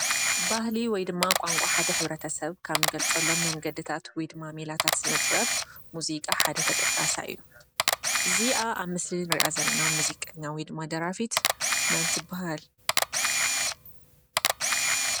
ባህሊ ወይድማ ቋንቋ ሓደ ሕ/ሰብ ካብ እንገልፀሎም መንገድታት ወይድማ ሜላታት ስነ -ጥበብ ሙዚቃ ሓደ ተጠቃሳይ እዩ። እዚኣ ኣብ ምስሊ እንርእይ ዘለና ሙዚቀኛ ወይድማ ደራፊት መን ትባሃል?